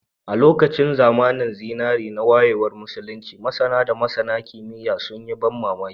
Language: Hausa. A lokacin zamanin zinare na wayewar Musulunci, masAna da masAna kimiyya sun yi ban mamaki